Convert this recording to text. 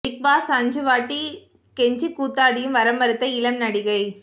big boss அஞ்சு வாட்டி கெஞ்சிக் கூத்தாடியும் வர மறுத்த இளம் நடிகை